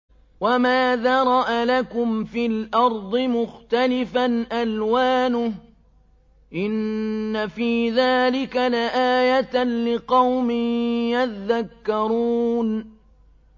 وَمَا ذَرَأَ لَكُمْ فِي الْأَرْضِ مُخْتَلِفًا أَلْوَانُهُ ۗ إِنَّ فِي ذَٰلِكَ لَآيَةً لِّقَوْمٍ يَذَّكَّرُونَ